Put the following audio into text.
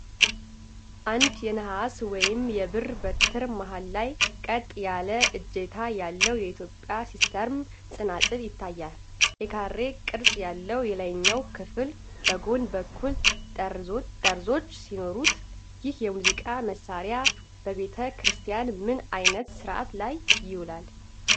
አንድ የነሐስ ወይም የብር በትር መሃል ላይ ቀጥ ያለ እጀታ ያለው የኢትዮጵያ ሲስትረም (ጸናጽል) ይታያል። የካሬ ቅርፅ ያለው የላይኛው ክፍል በጎን በኩል ጠርዞች ሲኖሩት። ይህ የሙዚቃ መሣሪያ በቤተ ክርስቲያን ምን አይነት ሥርዓት ላይ ይውላል?